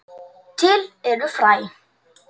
Til eru fræ.